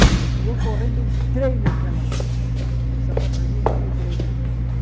E eu, correndo, entrei naquela sapataria e me livrei da.